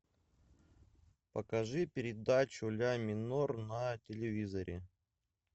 покажи передачу ля минор на телевизоре